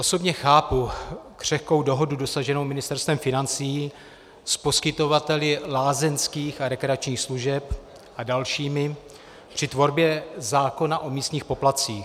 Osobně chápu křehkou dohodu dosaženou Ministerstvem financí s poskytovateli lázeňských a rekreačních služeb a dalšími při tvorbě zákona o místních poplatcích.